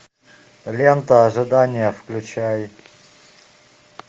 лента ожидание включай